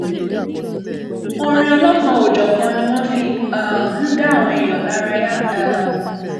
orin ọlọkanòjọkan ni wọn fi um ń dá àwọn èèyàn lárayá um